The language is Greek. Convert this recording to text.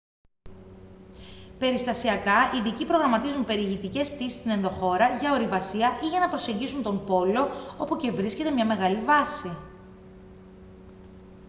περιστασιακά ειδικοί προγραμματίζουν περιηγητικές πτήσεις στην ενδοχώρα για ορειβασία ή για να προσεγγίσουν τον πόλο όπου και βρίσκεται μια μεγάλη βάση